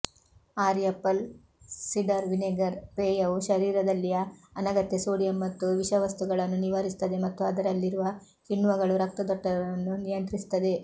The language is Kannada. ಆ್ಯಪಲ್ ಸಿಡರ್ ವಿನೆಗರ್ ಪೇಯವು ಶರೀರದಲ್ಲಿಯ ಅನಗತ್ಯ ಸೋಡಿಯಂ ಮತ್ತು ವಿಷವಸ್ತುಗಳನ್ನು ನಿವಾರಿಸುತ್ತದೆ ಮತ್ತು ಅದರಲ್ಲಿರುವ ಕಿಣ್ವಗಳು ರಕ್ತದೊತ್ತಡವನ್ನು ನಿಯಂತ್ರಿಸುತ್ತವೆ